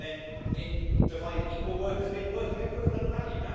Then it defined equal work' as being work of equivalent value.